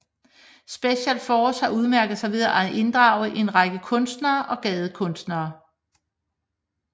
Special Forces har udmærket sig ved at inddrage en række kunstnere og gadekunstnere